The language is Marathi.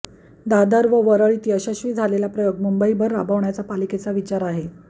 दादर व वरळीत यशस्वी झालेला प्रयोग मुंबईभर राबवण्याचा पालिकेचा विचारात आहे